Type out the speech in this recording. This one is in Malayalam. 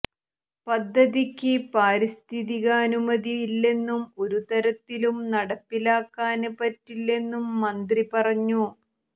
പദ്ധതിയ്ക്ക് പാരിസ്ഥിതികാനുമതി ഇല്ലെന്നും ഒരു തരത്തിലും നടപ്പിലാക്കാന് പറ്റില്ലെന്നും മന്ത്രി പറഞ്ഞു